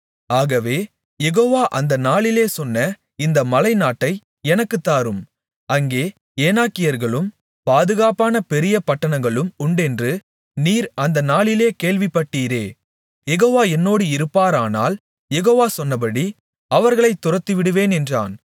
ஆகவே யெகோவா அந்த நாளிலே சொன்ன இந்த மலைநாட்டை எனக்குத்தாரும் அங்கே ஏனாக்கியர்களும் பாதுகாப்பான பெரிய பட்டணங்களும் உண்டென்று நீர் அந்த நாளிலே கேள்விப்பட்டீரே யெகோவா என்னோடு இருப்பாரானால் யெகோவா சொன்னபடி அவர்களைத் துரத்திவிடுவேன் என்றான்